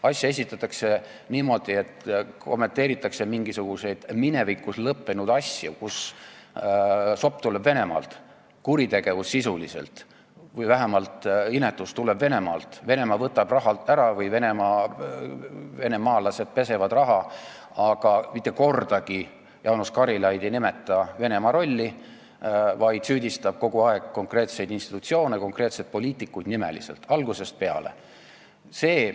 Asja esitatakse niimoodi, et kommenteeritakse mingisuguseid minevikus lõppenud asju, kui sopp on tulnud Venemaalt, kuritegevus või vähemalt inetus on tulnud Venemaalt, Venemaa on raha ära võtnud või venemaalased on raha pesnud, aga mitte kordagi ei ole Jaanus Karilaid nimetanud Venemaa rolli, vaid ta on kogu aeg süüdistanud konkreetseid institutsioone, konkreetseid poliitikuid, lausa nimeliselt, algusest peale.